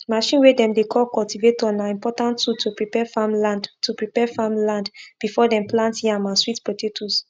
machine way dem dey call cultivator na important tool to prepare farmland to prepare farmland before dem plant yam and sweet potatoes